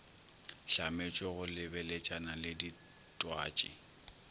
hlametšwe go lebeletšana le ditwatši